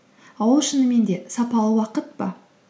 ал ол шынымен де сапалы уақыт па